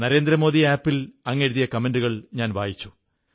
Narendra Modi app ൽ അങ്ങെഴുതിയ കമന്റുകൾ വായിച്ചു